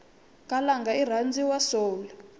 khalanga irhandzwa soul